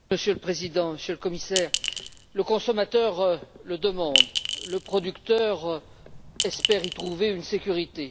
Monsieur le Président, Monsieur le Commissaire, le consommateur le demande, le producteur espère y trouver une sécurité.